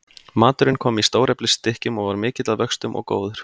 Maturinn kom í stóreflis stykkjum og var mikill að vöxtum og góður.